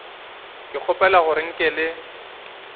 ke kgopela gore nke le